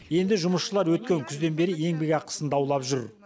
енді жұмысшылар өткен күзден бері еңбекақысын даулап жүр